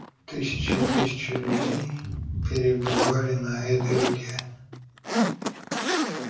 тысячи и тысячи людей перебывали на этой реке